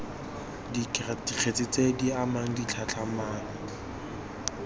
dikgetse tse di amang ditlhatlhamano